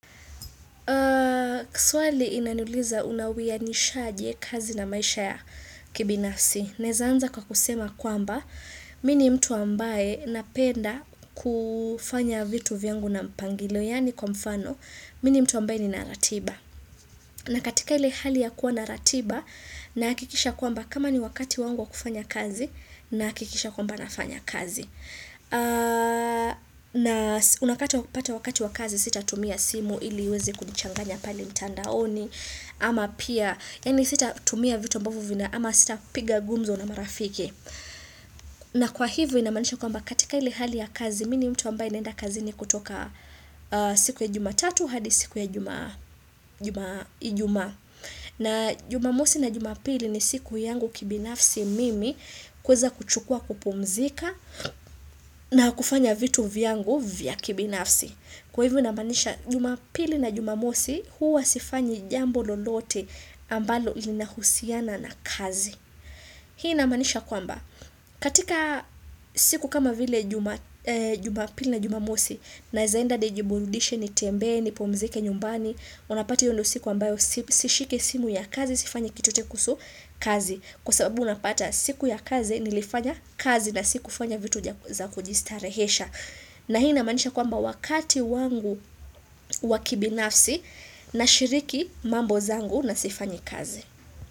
Kwa suali inanuliza unawia nishajie kazi na maisha ya kibinafsi, nezaanza kwa kusema kwamba, mini mtu ambaye napenda kufanya vitu vyangu na mpangilo, yani kwa mfano, mini mtu ambaye ni naratiba. Na katika ile hali ya kuwa naratiba, nakikisha kwamba kama ni wakati wangu wa kufanya kazi, nakikisha kwamba nafanya kazi. Na unapata wakati wakazi sita tumia simu ili wezi kunichanganya pale mtandaoni Ama pia, yani sita tumia vitu ambavyo vina ama sita piga gumzo na marafiki na kwa hivyo inamanisha kwa mba katika ili hali ya kazi Mini mtu ambaye naenda kazi ni kutoka siku ya jumatatu hadi siku ya ijumaa na jumamosi na jumapili ni siku yangu kibinafsi mimi kweza kuchukua kupumzika na kufanya vitu vyangu vya kibinafsi. Kwa hivyo namanisha jumapili na jumamosi huwa sifanyi jambo lolote ambalo ilina husiana na kazi. Hii namanisha kwamba. Katika siku kama vile jumapili na jumamosi na zaenda nijiburudishe ni tembe ni pumzike nyumbani unapati yondo siku ambayo sishike simu ya kazi sifanyi kitotekusu kazi Kwa sababu unapata siku ya kazi nilifanya kazi na siku fanya vitu za kujistarehesha. Na hii na manisha kwamba wakati wangu wakibi nafsi na shiriki mambo zangu na sifanyi kazi.